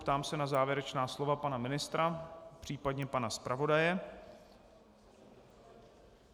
Ptám se na závěrečná slova pana ministra, případně pana zpravodaje.